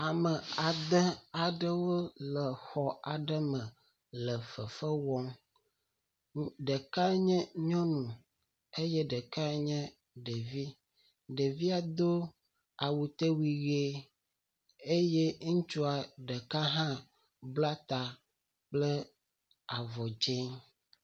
Ame ade aɖewo le xɔ aɖe me le fefe wɔm. Ɖeka nye nyɔnu eye ɖeka nye ɖevi. Ɖevia do awuteui ʋi eye ŋutsua ɖeka hã bla ta kple avɔ dzi.